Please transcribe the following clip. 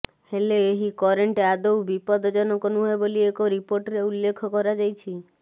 ହେଲେ ଏହି କରେଣ୍ଟ ଆଦୌ ବିପଦଜନକ ନୁହେଁ ବୋଲି ଏକ ରିପୋର୍ଟରେ ଉଲ୍ଳେଖ କରାଯାଇଛି